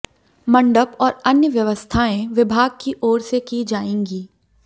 मंडप और अन्य व्यवस्थाएं विभाग की ओर से की जाएंगी